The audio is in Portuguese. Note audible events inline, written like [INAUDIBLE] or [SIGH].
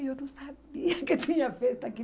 [LAUGHS] Eu não sabia que tinha festa aqui.